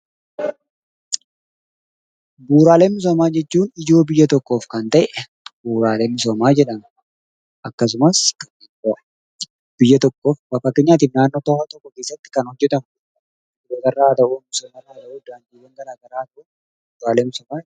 Bu'uuraalee misoomaa jechuun ijoo biyya tokkoof Kan tahe bu'uuraalee misoomaa jedhama. Akkasumas biyya tokkoof fakkeenyaatif naannoo tokko keessatti Kan hojjetamu qonnaarraa haa tahu, misoomarraa haa tahu, daandiiwwan garaagaraa Haa tahu bu'uuraalee misoomaati.